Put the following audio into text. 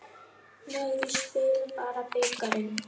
Nei, við spilum bara bikarinn.